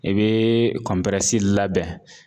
I bɛ labɛn.